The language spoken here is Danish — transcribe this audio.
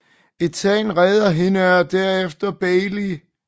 Ethan redder hende og derefter Bailey